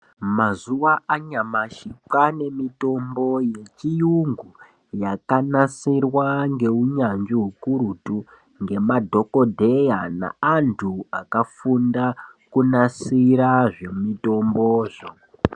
Mazuva anyamashi kwane mitombo yechiyungu yakanasirwa ngeunyanzvi ukurutu ngema dhokodheya na andu akafunda kunasira zvemutombo zvo.